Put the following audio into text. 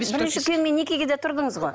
бірінші күйеуіңмен некеге де тұрдыңыз ғой